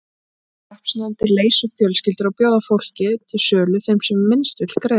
Hreppsnefndir leysa upp fjölskyldur og bjóða fólkið til sölu þeim sem minnst vill greiða.